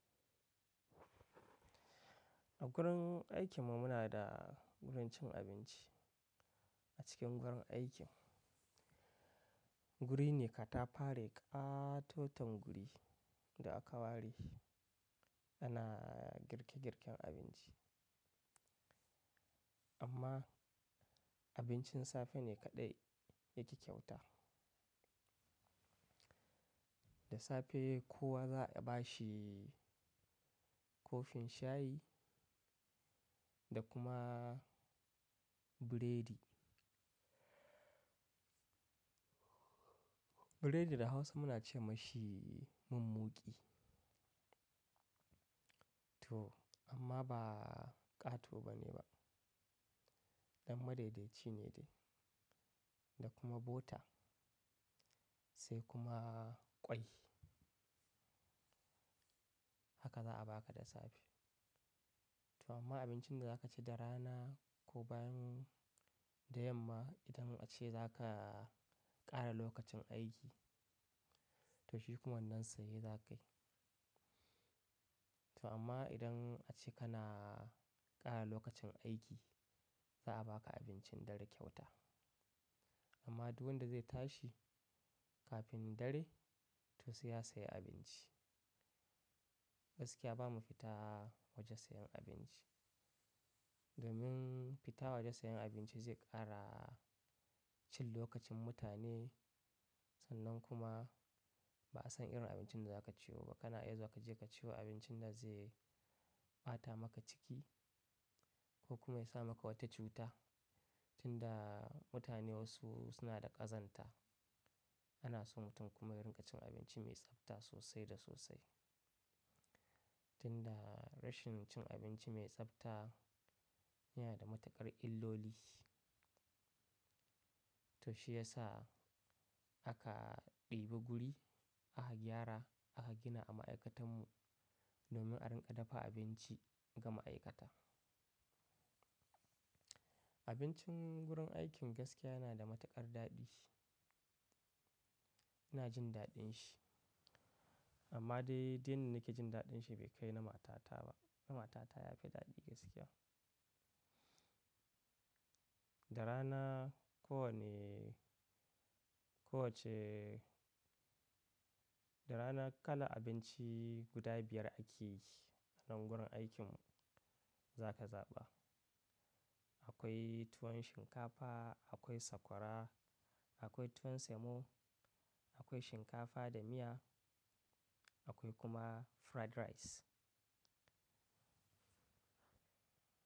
A gurin aikin mu muna da wurin cin abinci a cikin gurin aiki. Guri ne katafare ƙatoton guri da aka ware ana girke girken abinci. Amma abincin safe ne kaɗai yake kyauta. Da safe kowa za a bashi kofin shayi da kuma burodi. Burodi da Hausa muna ce mashi mummuƙi. To amma ba ƙato bane ba, ɗan madaidaici ne dai. Da kuma bota sai kuma ƙwai. Haka za a baka da safe. To amma abincin da za ka ci da rana ko bayan da yamma idan ace za ka ƙara lokacin aiki, to shi kuma nan saye za ka yi. To amma idan ace kana ƙara lokacin aiki za a baka abincin dare kyauta. Amma duk wanda zai tashi kafin dare to sai ya sayi abinci. Gaskiya ba mu fita waje sayan abinci. Domin fita waje sayan abinci zai ƙara cin lokacin mutane sannan kuma ba'a san irin abincin da za ka ciyo ba. Kana iya zuwa ka je ka ci abincin da zai ɓata maka ciki ko kuma ya sa maka wata cuta. Tunda mutane wasu suna da ƙazanta ana so mutum kuma ya riƙa cin abinci mai tsafta sosai da sosai. Tunda rashin cin abinci mai tsabta yana da matuƙar illoli. To shi ya sa aka ɗibi guri aka gyara aka gina a ma'aikatan mu domin a riƙa dafa abinci ga ma'aikata. Abincin gurin aikin gaskiya yana da matuƙar daɗi. Ina jin daɗin shi. Amma dai, duk yanda nake jin daɗin shi bai kai na matata ba. Na matata ya fi daɗi gaskiya. Da rana ko wane, ko wacce-- da rana kala abinci guda biyar ake yi nan gurin aikin mu za ka zaɓa. Akwai tuwon shinkafa, akwai sakwara, akwai tuwon semo, akwai shinkafa da miya akwai kuma fried rice.